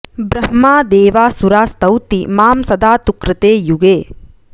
ब्रह्मा देवासुरा स्तौति मां सदा तु कृते युगे